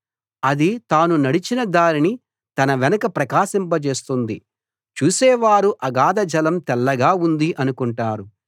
అది తాను నడచిన దారిని తన వెనక ప్రకాశింప జేస్తుంది చూసే వారు అగాధ జలం తెల్లగా ఉంది అనుకుంటారు